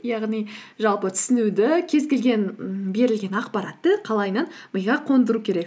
яғни жалпы түсінуді кез келген ммм берілген ақпаратты қалайынан миға қондыру керек